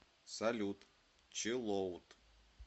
салют чиллоут